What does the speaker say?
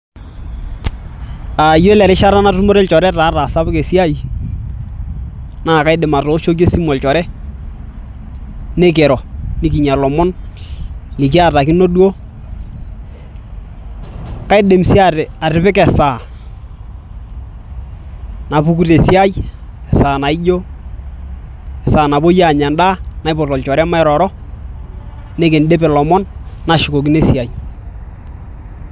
Aaa, iyiolo erishata natumore ilchoreta ata aasapuk esiai naakaidim aatooshoki esimu olchore nikiro nikinyia ilomon likiatakino duo kaidim sii atipika esaa napuku tesiai esaa naijio esaa napuo aanya endaa naipot olchore mairoro nikindip ilomon nashukokino esiai.